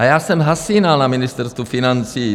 A já jsem zhasínal na Ministerstvu financí.